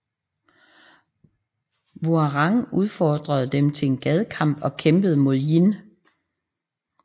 Hwoarang udfordrede dem til en gadekamp og kæmpede mod Jin